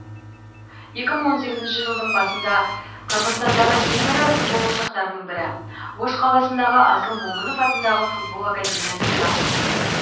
екі мың он сегізінші жылдың басында қырғызстандағы ең ірі футбол ошақтарының бірі ош қаласындағы асыл момынов атындағы футбол академиясында құрылды